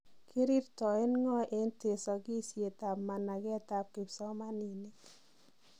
Kirirtoen ng'oo en tesogisiet ab manageet ab kipsomaniniik.